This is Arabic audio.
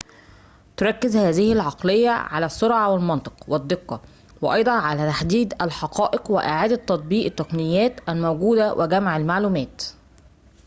تركز هذه العقلية على السرعة والمنطق والدقة وأيضاً على تحديد الحقائق وإعادة تطبيق التقنيات الموجودة وجمع المعلومات